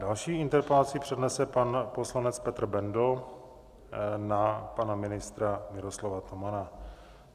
Další interpelaci přednese pan poslanec Petr Bendl na pana ministra Miroslava Tomana.